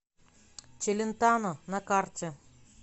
челентано на карте